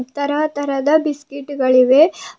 ತರತರದ ಬಿಸ್ಕೆಟ್ ಗಳಿವೆ ಮತ್--